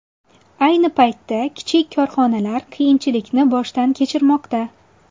Ayni paytda kichik korxonalar qiyinchilikni boshdan kechirmoqda.